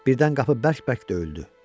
Birdən qapı bərk-bərk döyüldü.